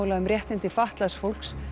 um réttindi fatlaðs fólks